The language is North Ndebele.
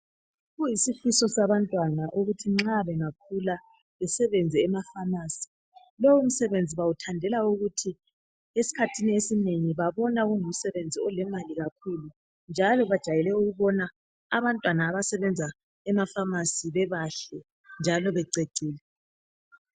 Kuyisifiso sabantwana ukuthi nxa bengakhula besebenze emafamasi. Lomsebenzi bawuthandela ukuthi esikhathini esinengi babona ungumsebenzi olemali kakhulu njalo bajayele ukubona abantwana abasebenza emafamasi bebahle njalo bececile.